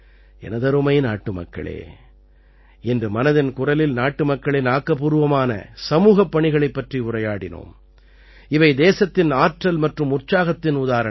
எனதருமை நாட்டுமக்களே இன்று மனதின் குரலில் நாட்டுமக்களின் ஆக்கப்பூர்வமான சமூகப் பணிகளைப் பற்றி உரையாடினோம் இவை தேசத்தின் ஆற்றல் மற்றும் உற்சாகத்தின் உதாரணங்கள்